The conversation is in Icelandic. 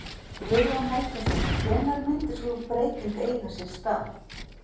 Guðjón Helgason: Hvenær myndi sú breyting eiga sér stað?